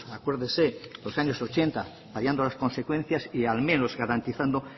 acuérdese de los años ochenta hallando las consecuencias y al menos garantizando